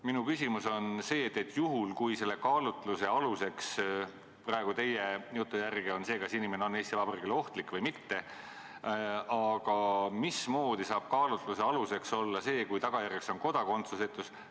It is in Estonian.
Minu küsimus on, et juhul kui selle kaalutluse aluseks praegu teie jutu järgi on see, kas inimene on Eesti Vabariigile ohtlik või mitte, siis mismoodi saab kaalutluse aluseks olla see, et arvestatakse ka kodakondsusetuks muutumist.